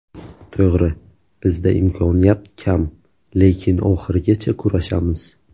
To‘g‘ri, bizda imkoniyat kam, lekin oxirigacha kurashamiz.